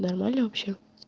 нормально вообще